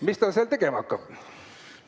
Mis ta seal tegema hakkab?